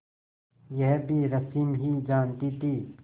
यह भी रश्मि ही जानती थी